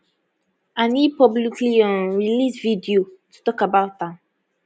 and e publicly um release video to tok about am